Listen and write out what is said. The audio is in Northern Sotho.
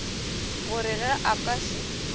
gore ge a ka se